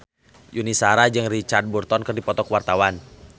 Yuni Shara jeung Richard Burton keur dipoto ku wartawan